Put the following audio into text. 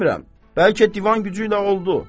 Demirəm, bəlkə divan gücü ilə oldu.